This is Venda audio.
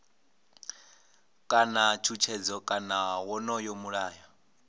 kana tshutshedzo kana wonoyo mulayo